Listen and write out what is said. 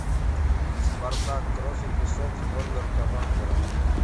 спартак кровь и песок норберта вандера